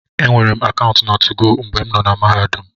E nweere akaụntụ na 2go mgbe m nọ na Mahadum.